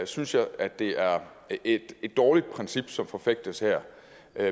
synes jeg at det er et dårligt princip som forfægtes her